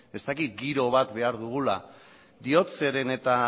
giro bat behar dugula diot zeren eta